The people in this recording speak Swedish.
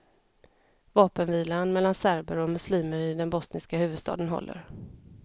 Vapenvilan mellan serber och muslimer i den bosniska huvudstaden håller.